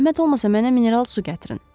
"Zəhmət olmasa mənə mineral su gətirin."